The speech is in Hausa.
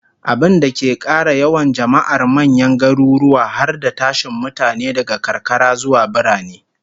Abinda ke kara yawan jama'ar manyan garuruwa, har da tashin mutane daga karkara zuwa birane